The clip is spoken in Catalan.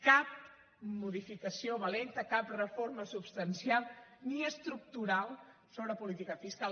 cap modificació valenta cap reforma substancial ni estructural sobre política fiscal